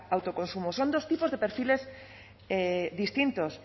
autoconsumo son dos tipos de perfiles distintos